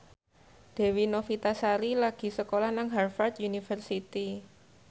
Dewi Novitasari lagi sekolah nang Harvard university